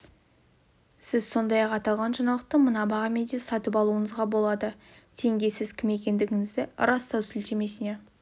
сіз сондай-ақ аталған жаңалықты мына бағамен де сатып алуыңызға болады тенге сіз кім екендігіңізді растау сілтемесіне